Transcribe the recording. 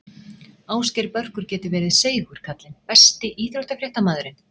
Ásgeir Börkur getur verið seigur kallinn Besti íþróttafréttamaðurinn?